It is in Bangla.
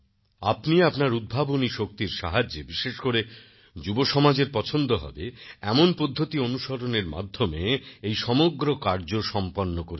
আপনি আপনার উদ্ভাবনী শক্তির সাহায্যে বিশেষ করে যুবসমাজের পছন্দ হবে এমন পদ্ধতি অনুসরণের মাধ্যমে এই সমগ্র কার্য সম্পন্ন করেছেন